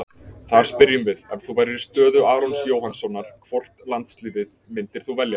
Þar spyrjum við: Ef þú værir í stöðu Arons Jóhannssonar, hvort landsliðið myndir þú velja?